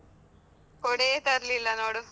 ಕೊಡೆಯೇ ತರ್ಲಿಲ್ಲ ನೋಡು?